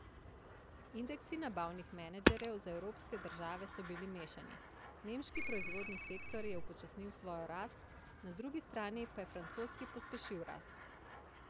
Indeksi nabavnih menedžerjev za evropske države so bili mešani, nemški proizvodni sektor je upočasnil svojo rast, na drugi strani pa je francoski pospešil rast.